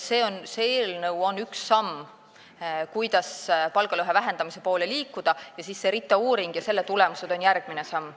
See eelnõu on üks samm, kuidas palgalõhe vähendamise poole liikuda, RITA uuring ja selle tulemused on järgmine samm.